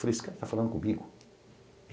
Falei, esse cara tá falando comigo?